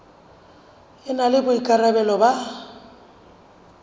e na le boikarabelo ba